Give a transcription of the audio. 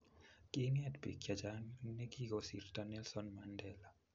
kiinget biik chechang nekikosirto Nelson Mandela